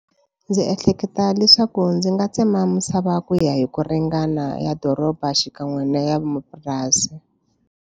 Ndzi ehleketa leswaku ndzi nga tsema misava ku ya hi ku ringana ya doroba xikan'we na ya mapurasi.